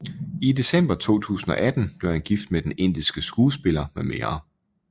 I december 2018 blev han gift med den indiske skuespiller mm